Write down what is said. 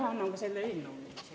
Ma annan kohe selle ettepaneku ka üle.